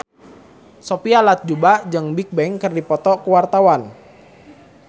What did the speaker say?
Sophia Latjuba jeung Bigbang keur dipoto ku wartawan